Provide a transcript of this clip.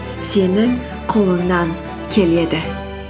сенің қолыңнан келеді